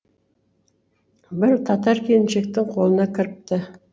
бір татар келіншектің қолына кіріпті